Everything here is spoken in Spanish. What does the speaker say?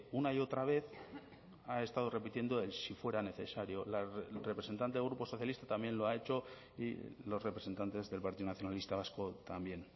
una y otra vez ha estado repitiendo el si fuera necesario la representante del grupo socialista también lo ha hecho y los representantes del partido nacionalista vasco también